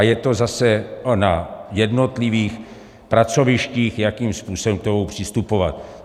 A je to zase na jednotlivých pracovištích, jakým způsobem k tomu přistupovat.